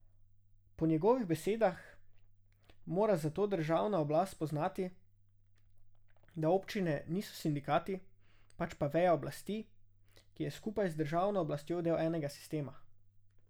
Po njegovih besedah mora zato državna oblast spoznati, da občine niso sindikati, pač pa veja oblasti, ki je skupaj z državno oblastjo del enega sistema.